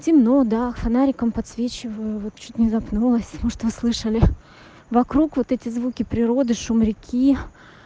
темно да фонариком подсвечиваю вот чуть не запнулась может вы слышали вокруг вот эти звуки природы шум реки